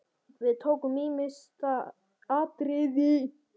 Við tókum ýmis atriði.